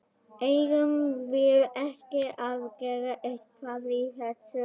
Eigum við ekki að gera eitthvað í þessu?